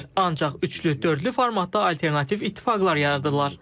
Ancaq üçlük, dördlük formatda alternativ ittifaqlar yaradırlar.